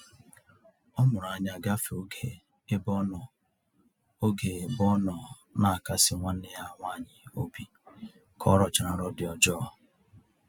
Ọ mụrụ anya gafee oge ebe ọnọ oge ebe ọnọ n'akasi nwanne ya nwaanyị obi ka ọrọchara nrọ dị ọjọọ